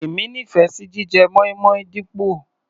Èmi nífẹ̀ẹ́ sí jíjẹ moin-moin dípò.